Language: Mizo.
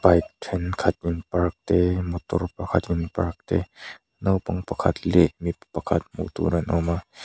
bike thenkhat rawn park te motor pakhat in park te naupang pakhat leh mipa pakhat hmuhtur an awm a--